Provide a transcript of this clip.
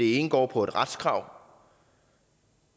det ene går på et retskrav